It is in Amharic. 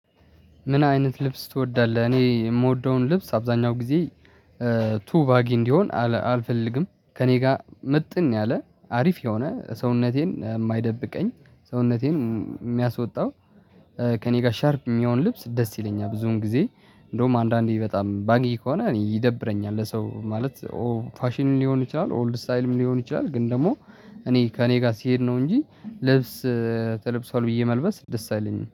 ምን አይነት ልብስ ትወዳለህ? እኔ የምወደውን ልብስ አብዛኛው ጊዜ ቱ ቫጊ እንዲሆን አልፈልግም ከእኔ ጋር ምጥን ያለ አሪፍ የሆነ ሰውነቴን የማይደብቀኝ ሰውነቴን የሚያስወጣው ከእኔ ጋር ሻርፕ የሚሆን ልብስ ደስ ይለኛል። ብዙውን ጊዜ እንደውም አንዳንዴ በጣም ባግይ ከሆነ ይደብረኛል። ለሰው ማለት ፋሽን ሊሆን ይችላል ኦልድ ስታይልም ሊሆን ይችላል። ግን ደግሞ እኔ ከእኔ ጋር ስሄድ ነው እንጂ ልብስ ተለብሷል ብዬ መልበስ ደስ አይለኝም